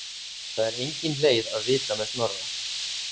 Það er engin leið að vita með Snorra.